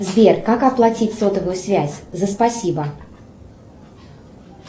сбер как оплатить сотовую связь за спасибо